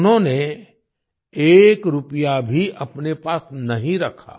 उन्होंने एक रुपया भी अपने पास नहीं रखा